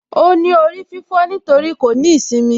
Óní orí fífó nítorí kò ní īsimi